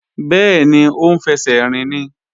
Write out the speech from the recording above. Bẹ́ẹ̀ni, ó ń fẹsẹ̀ rìn ni